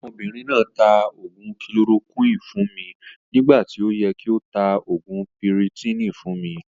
Ọmọbìnrin náà taa oògún "kilorokúinì" fún mi nígbà tí ó yẹ kí o tá oògùn piritiìni fún mi